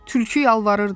Tülkü yalvarırdı.